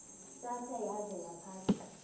ntsasana yaza yaphatha